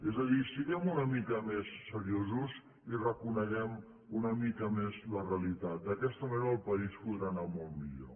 és a dir siguem una mica més seriosos i reconeguem una mica més la realitat d’aquesta manera el país podrà anar molt millor